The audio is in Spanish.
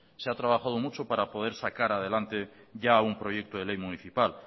se ha trabajado mucho para poder sacar adelante ya un proyecto de ley municipal